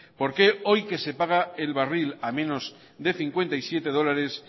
por qué hoy que se paga el barril a menos de cincuenta y siete dólares